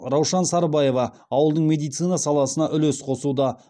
раушан сарбаева ауылдың медицина саласына үлес қосуда